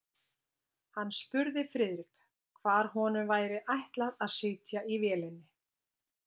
Hann spurði Friðrik, hvar honum væri ætlað að sitja í vélinni.